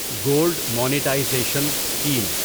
gold monetisation scheme